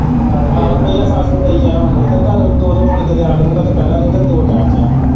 ਹਾਂ ਰੁਪਇਆ ਸੱਤ ਸੌ ਦੇਈ ਜਾਇਓ ਮੈਨੂੰ ਤੇ ਤੁਹਾਨੂੰ ਦੋ-ਦੋ ਫੁਲਕੇ ਦਿਆਂ ਕਰੂਗਾ ਦੁਪਹਿਰਾ ਨੂੰ ਤੇ ਦੋ ਟੈਮ ਚਾਹ।